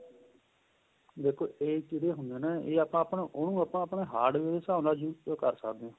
ਦੇਖੋ ਏਹ ਜਿਹੜੇ ਹੁੰਦੇ ਨੇ ਏਹ ਆਪਾਂ ਆਪਣਾ ਉਹਨੂੰ ਆਪਾਂ ਆਪਣੇਂ heart ਦੇ ਹਿਸਾਬ ਨਾਲ use ਕਰ ਸਕਦੇ ਹਾਂ